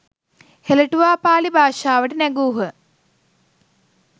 හෙළටුවා පාලි භාෂාවට නැගූහ.